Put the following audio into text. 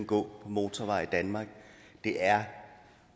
på motorveje i danmark det er